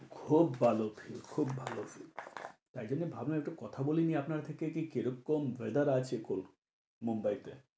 খুব ভালো feel, খুব ভালো feel তাই জন্য ভাবলুম একটু কথা বলে নিই, আপনার থেকে কি কি রকম weather আছে মুম্বাইতে।